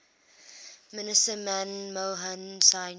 minister manmohan singh